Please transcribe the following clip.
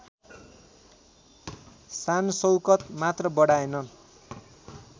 शानशौकत मात्र बढाएन